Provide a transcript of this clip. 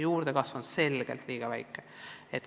Juurdekasv on selgelt liiga väike.